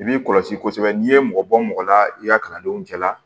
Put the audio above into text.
I b'i kɔlɔsi kosɛbɛ n'i ye mɔgɔ bɔ mɔgɔ la i ka kalandenw cɛ la